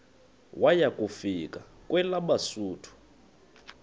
waya kufika kwelabesuthu